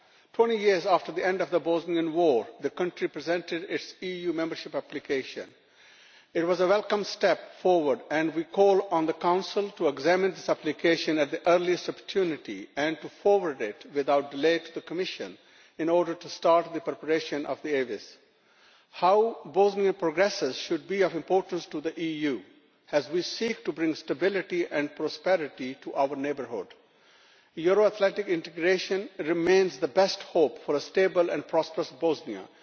Twenty years after the end of the Bosnian war the country presented its EU membership application. It was a welcome step forward, and we call on the Council to examine this application at the earliest opportunity and to forward it without delay to the Commission in order to start the preparation of the How Bosnia progresses should be of importance to the EU as we seek to bring stability and prosperity to our neighbourhood. Euro Atlantic integration remains the best hope for a stable and prosperous Bosnia.